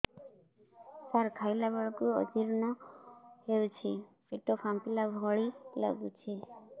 ସାର ଖାଇଲା ବେଳକୁ ଅଜିର୍ଣ ହେଉଛି ପେଟ ଫାମ୍ପିଲା ଭଳି ଲଗୁଛି